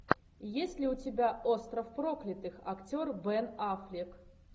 есть ли у тебя остров проклятых актер бен аффлек